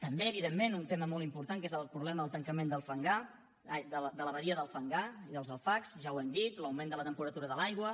també evidentment un tema molt important que és el problema del tancament de la badia del fangar allà als alfacs ja ho hem dit l’augment de la temperatura de l’aigua